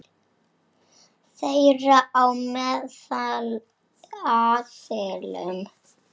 Þeirra á meðal aðilum.